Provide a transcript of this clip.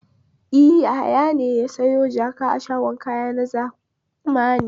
E, Yahaya ne ya sayo jaka a shagon kaya na zamani.